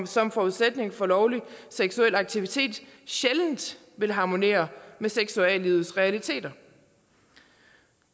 som forudsætning for lovlig seksuel aktivitet sjældent vil harmonere med seksuallivets realiteter